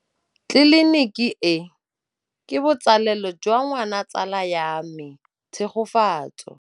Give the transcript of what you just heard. Tleliniki e, ke botsalêlô jwa ngwana wa tsala ya me Tshegofatso.